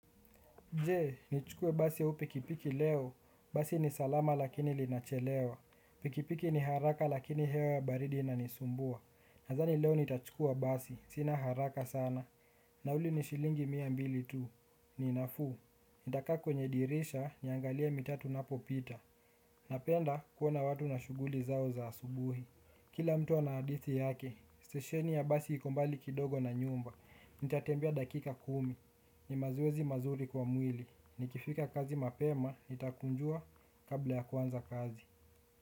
Jee, nichukue basi au pikipiki leo. Basi ni salama lakini linachelewa. Pikipiki ni haraka lakini hewa baridi inanisumbua. Nadhani leo nitachukua basi. Sina haraka sana. Nauli ni shilingi mia mbili tu. Ni nafuu. Nitakaa kwenye dirisha niangalie mitaa tunapopita. Napenda kuona watu na shughuli zao za asubuhi. Kila mtu ana hadithi yake, stesheni ya basi iko mbali kidogo na nyumba. Nitatembia dakika kumi, ni mazoezi mazuri kwa mwili. Nikifika kazi mapema, nitakunjua kabla ya kuanza kazi.